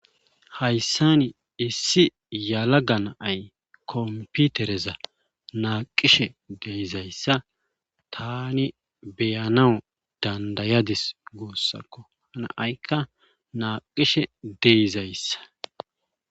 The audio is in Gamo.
Hasan issi yelaga na'ay computereza naqishe dizaysa Tani be'anawu danda'adis gusako, na'ayka naqishe de'izaysa